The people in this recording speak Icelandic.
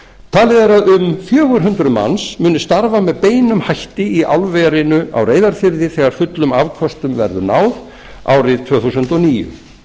talið er að um fjögur hundruð manns muni starfa eð beinum hætti í álverinu á reyðarfirði þegar fullum afköstum verður náð árið tvö þúsund og níu